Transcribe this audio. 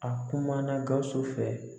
A kumana Gawusu fɛ